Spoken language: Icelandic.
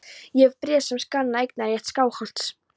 Ég hef bréf sem sanna eignarrétt Skálholts.